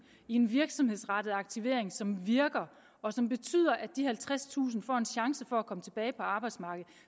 i en virksomhedsrettet aktivering som virker og som betyder at de halvtredstusind får en chance for at komme tilbage på arbejdsmarkedet